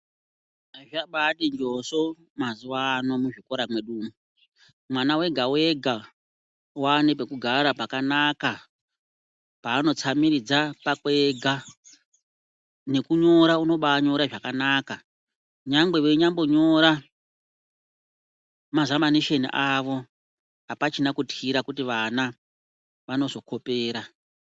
Zvabati njoso mazuwano muzvikora mwedumwo , mwana wega wega wane pekugara pakanaka paanotsamiridza pakwe ega nekunyora unobanyira zvakanaka nyangwe veinyambonyora mazamanisheni avo apachina kutyira kuti vana vanozokopera.